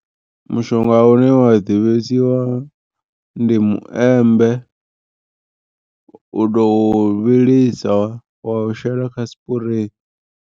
Mushonga une wa ḓivhesiwa ndi muembe u tou u vhilisa wa u shela kha sipurei.